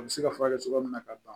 A bɛ se ka furakɛ cogoya min na ka ban